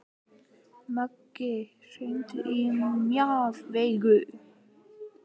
Maggi, hringdu í Mjaðveigu.